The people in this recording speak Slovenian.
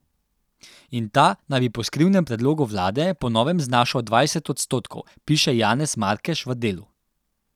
In ta naj bi po skrivnem predlogu vlade po novem znašal dvajset odstotkov, piše Janez Markeš v Delu.